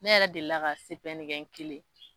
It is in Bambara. Ne yɛrɛ de la ka kɛ n kelen